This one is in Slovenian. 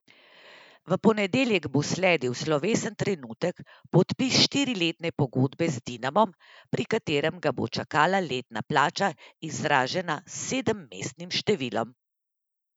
V ponedeljek bo sledil slovesen trenutek, podpis štiriletne pogodbe z Dinamom, pri katerem ga bo čakala letna plača, izražena s sedemmestnim številom.